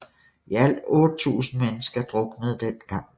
I alt 8000 mennesker druknede den gang